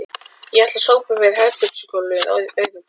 Ég ætla að sópa yfir herbergisgólfið auðvitað